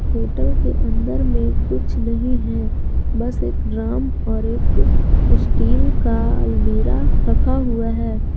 Hotel के अंदर में कुछ नहीं है बस एक ड्रम और एक स्टील का अलमीरा रखा हुआ है।